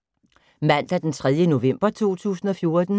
Mandag d. 3. november 2014